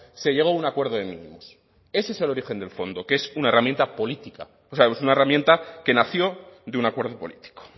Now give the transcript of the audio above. se llegó a un acuerdo de mínimos ese es el origen del fondo que es una herramienta política o sea es una herramienta que nació de un acuerdo político